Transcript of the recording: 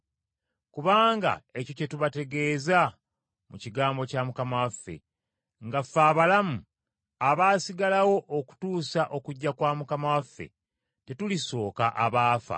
Kubanga ekyo kye tubategeeza mu kigambo kya Mukama waffe, nga ffe abalamu, abaasigalawo okutuusa okujja kwa Mukama waffe tetulisooka abaafa.